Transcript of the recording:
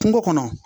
Kungo kɔnɔ